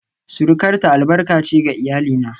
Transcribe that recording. surukarta albarka ce ga iyalina